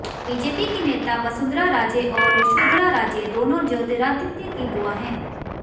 BJP की नेता वसुंधरा राजे और योशधरा राजे दोनों ज्योतिरादित्य की बुआ हैं